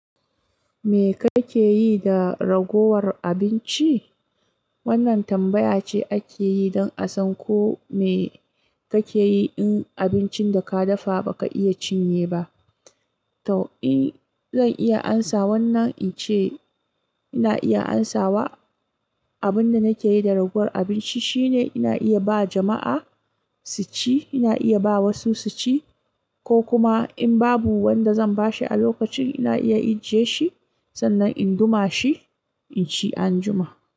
"Me kake yi da ragowar abinci?" Wannan tambaya ce ake yi don a san ko me kake yi in abincin da ka dafa ba ka iya cinye ba. To, in zan iya amsa wannan, in ce ina iya amsawa. Abin da nake yi da ragowar abinci shine ina iya ba jama'a su ci. Ina iya ba wasu su ci, ko kuma in babu wanda zan ba shi a lokacin, ina iya ijiye shi, sannan in duma shi in ci anjima.